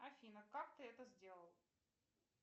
афина как ты это сделал